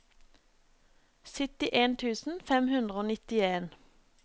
syttien tusen fem hundre og nittien